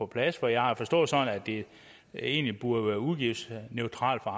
plads for jeg har forstået det sådan at det egentlig burde være udgiftsneutralt for